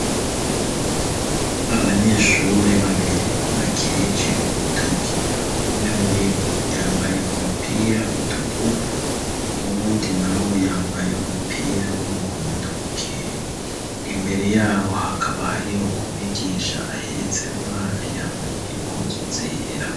Abanyeshure babiri bakirije urutuki umwe muri bu yambaye umupira utukura uwundi na we yambaye umupira w'umuhondo uke imbere yabo hakaba hariho umwigisha ahetse umwana yambaye impuzu zera.